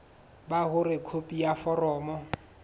ba hore khopi ya foromo